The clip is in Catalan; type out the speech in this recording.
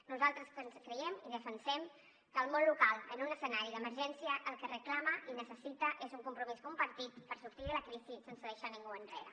nosaltres creiem i defensem que el món local en un escenari d’emergència el que reclama i necessita és un compromís compartit per sortir de la crisi sense deixar ningú enrere